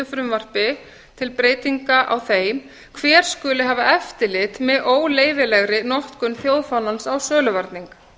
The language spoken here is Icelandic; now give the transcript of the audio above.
frumvarpi til breytinga á þeim hver skuli hafa eftirlit með óleyfilegri notkun þjóðfánans á söluvarning